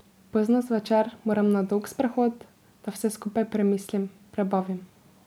Pozno zvečer moram na dolg sprehod, da vse skupaj premislim, prebavim.